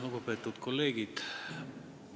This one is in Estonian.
Lugupeetud kolleegid!